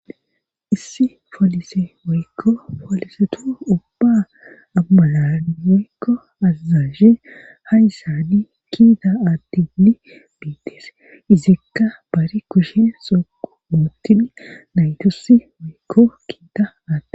issi folise woykko folisetu ubba amararan woykko azazazshe hayssadi kiida aattini biittees izikka bari kushin sooqu ootid naytasi woykko kiita aatte